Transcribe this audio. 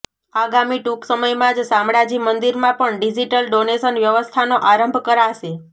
આગામી ટૂંક સમયમાં જ શામળાજી મંદિરમાં પણ ડીઝીટલ ડોનેશન વ્યવસ્થાનો આરંભ કરાશે